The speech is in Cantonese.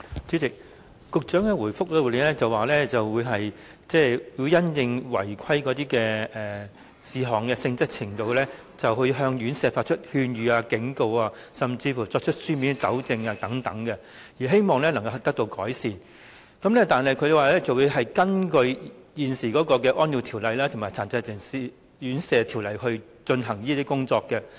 主席，局長在答覆中表示，會因應院舍違規事項的性質及嚴重程度，向院舍發出勸諭、警告或作出書面糾正指示，希望加以改善；局長亦表示會根據現時的《安老院條例》和《殘疾人士院舍條例》來進行有關工作。